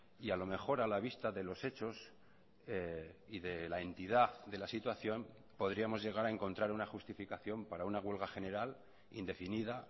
y a lo mejor a la vista de los hechos y de la entidad de la situación podríamos llegar a encontrar una justificación para una huelga general indefinida